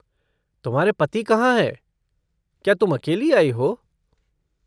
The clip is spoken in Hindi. तुम्हारे पति कहाँ हैं, क्या तुम अकेली आई हो?